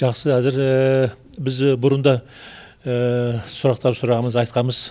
жақсы әзір біз бұрында сұрақтар сұрағымызды айтқанбыз